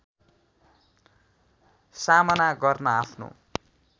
सामना गर्न आफ्नो